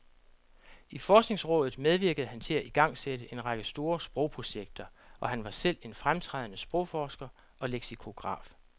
I forskningsrådet medvirkede han til at igangsætte en række store sprogprojekter, og han var selv en fremtrædende sprogforsker og leksikograf.